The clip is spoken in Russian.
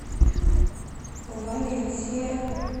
валенсия